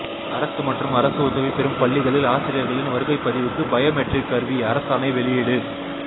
அரசு மற்றும் அரசு உதவி பெறும் பள்ளிகளில் ஆசிரியர்களின் வருகைப் பதிவுக்கு பயோமெட்ரிக் கருவி அரசாணை வெளியீடு